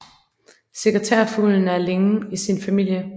Sekretærfuglen er alene i sin familie